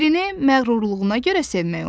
Birini məğrurluğuna görə sevmək olmur.